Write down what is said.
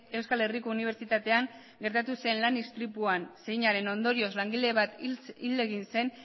euskal herriko unibertsitatean gertatu zen lan istripuan zeinaren ondorioz langile bat hil egin zen